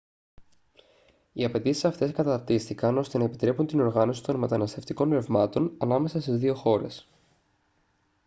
οι απαιτήσεις αυτές καταρτίστηκαν ώστε να επιτρέπουν την οργάνωση των μεταναστευτικών ρευμάτων ανάμεσα στις δύο χώρες